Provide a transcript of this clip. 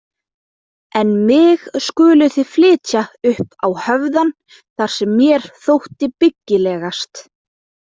En mig skuluð þið flytja upp á höfðann þar sem mér þótti byggilegast.